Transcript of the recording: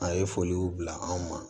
A ye foliw bila anw ma